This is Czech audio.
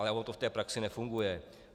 Ale ono to v té praxi nefunguje.